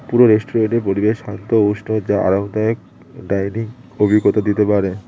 পুরো রেস্টুরেন্টের পরিবেশ শান্ত উষ্ণ যা আরামদায়ক ডাইনিং অভিজ্ঞতা দিতে পারে।